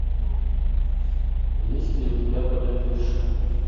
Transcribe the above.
есть ли у тебя богатырша